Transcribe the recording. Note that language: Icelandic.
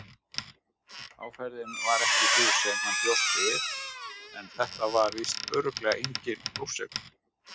Áferðin var ekki sú sem hann bjóst við en þetta var víst örugglega enginn flórsykur.